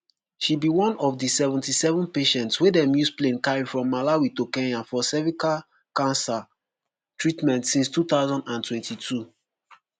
she be one of di 77 patients wey dem use plane carry from malawi to kenya for cervical cancer treatment since 2022.